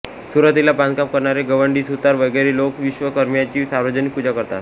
सुरुवातीला बांधकाम करणारे गवंडी सुतार वगैरे लोक विश्वकर्म्याची सार्वजनिक पूजा करतात